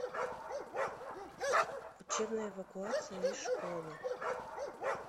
учебная эвакуация из школы